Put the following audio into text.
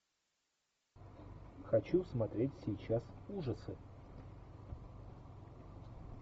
хочу смотреть сейчас ужасы